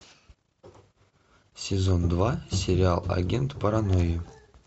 сезон два сериал агент паранойи